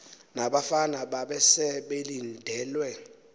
nabafana babese belindelwe